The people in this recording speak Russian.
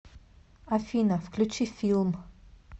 афина включи филм